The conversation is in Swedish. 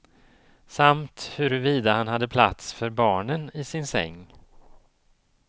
Samt huruvida han hade plats för barnen i sin säng.